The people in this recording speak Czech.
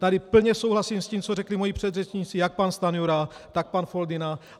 Tady plně souhlasím s tím, co řekli moji předřečníci, jak pan Stanjura, tak pan Foldyna.